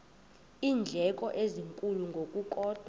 iindleko ezinkulu ngokukodwa